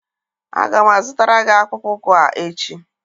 Aga m azụtara gị akpụkpọ ụkwụ a echi